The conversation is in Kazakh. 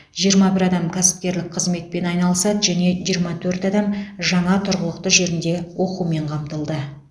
жиырма бір адам кәсіпкерлік қызметпен айналысады және жиырма төрт адам жаңа тұрғылықты жерінде оқумен қамтылды